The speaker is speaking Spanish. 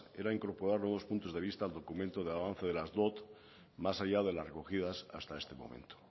era incorporar nuevos puntos de vista al documento de avance de las dot más allá de las recogidas hasta este momento